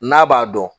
N'a b'a dɔn